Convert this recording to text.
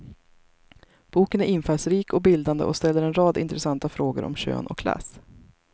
Boken är infallsrik och bildande och ställer en rad intressanta frågor om kön och klass.